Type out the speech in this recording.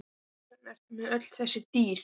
En hvers vegna ertu með öll þessi dýr?